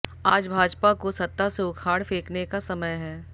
आज भाजपा को सत्ता से उखाड़ फेंकने का समय है